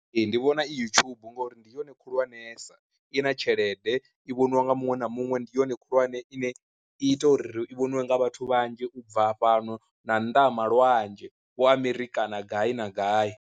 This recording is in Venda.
Ee ndi vhona i yutshubu ngori ndi yone khulwanesa, i na tshelede i vhoniwa nga muṅwe na muṅwe, ndi yone khulwane ine i ita uri i vhoniwe nga vhathu vhanzhi ubva fhano na nnḓa hama lwanzhe wo Amerikha kana gai na gai.